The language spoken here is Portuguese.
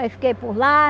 Aí fiquei por lá,